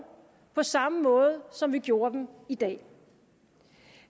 på samme måde som vi gjorde dem i dag